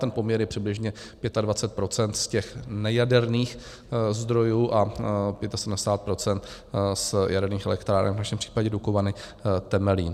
Ten poměr je přibližně 25 % z těch nejaderných zdrojů a 75 % z jaderných elektráren, v našem případě Dukovany, Temelín.